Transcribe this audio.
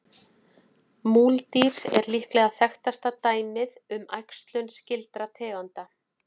Múldýr er líklega þekktasta dæmið um æxlun skyldra tegunda.